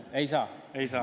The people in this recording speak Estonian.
Siis ei saa.